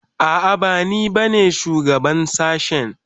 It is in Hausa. A'a bani ba ne shugaban shashen